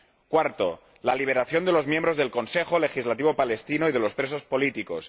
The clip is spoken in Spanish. cuarto, la liberación de los miembros del Consejo Legislativo palestino y de los presos políticos